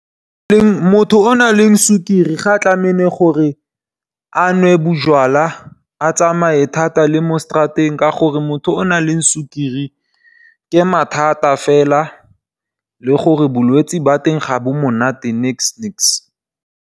Motho o na leng sukiri ga tlameile gore a nwe bojalwa, a tsamaye thata le mo straateng ka gore motho o nang le sukiri ke mathata fela, le gore bolwetsi ba teng ga bo monate neks-neks.